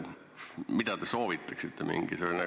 Mida te soovitaksite?